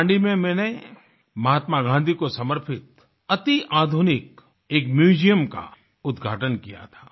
दांडी में मैंने महात्मा गाँधी को समर्पित अतिआधुनिक एक म्यूजियम का उद्घाटन किया था